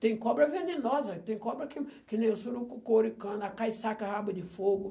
Tem cobra venenosa, tem cobra que que nem o surucucu ouricana, a caiçaca rabo-de-fogo